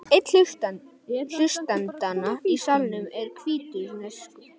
Einn hlustendanna í salnum er hvítrússneskur.